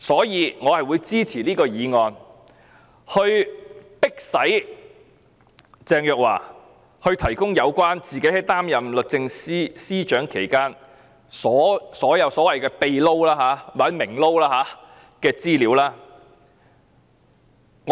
因此，我支持此項議案，要迫使鄭若驊提供有關她擔任律政司司長期間所有所謂"秘撈"或"明撈"的資料。